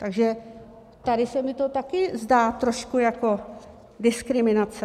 Takže tady se mi to také zdá trošku jako diskriminace.